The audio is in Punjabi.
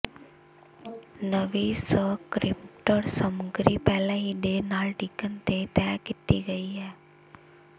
ਨਵੀਂ ਸਕ੍ਰਿਪਟਡ ਸਮਗਰੀ ਪਹਿਲਾਂ ਹੀ ਦੇਰ ਨਾਲ ਡਿਗਣ ਤੇ ਤਹਿ ਕੀਤੀ ਗਈ ਹੈ